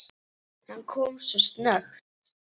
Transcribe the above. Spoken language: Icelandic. Hann kom svo snöggt.